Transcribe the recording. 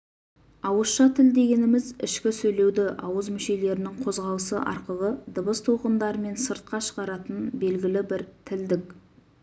ауызша тіл дегеніміз ішкі сөйлеуді ауыз мүшелерінің қозғалысы арқылы дыбыс толқындарымен сыртқа шығаратын белгілі бір тілдік